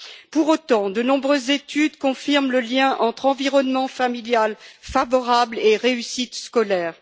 Pour autant, de nombreuses études confirment le lien entre environnement familial favorable et réussite scolaire.